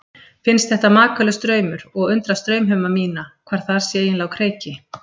Finnst þetta makalaus draumur og undrast draumheima mína, hvað þar sé eiginlega á kreiki.